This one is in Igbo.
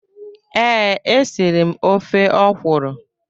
Ee, e siri m ofe okwụrụ.